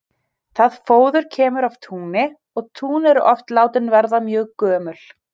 Það fóður kemur af túni og tún eru oft látin verða mjög gömul.